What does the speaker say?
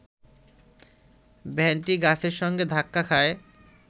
ভ্যানটি গাছের সঙ্গে ধাক্কা খায়